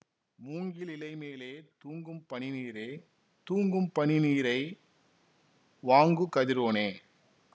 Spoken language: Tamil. மூங்கிலிலை மேலே தூங்குபனி நீரே தூங்குபனி நீரை வாங்குகதிரோனே